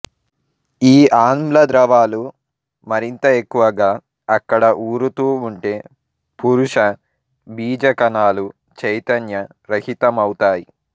ఈ ఆమ్ల ద్రవాలు మరింత ఎక్కువగా అక్కడ ఊరుతూ ఉంటే పురుష బీజకణాలు చైతన్య రహితమవుతాయి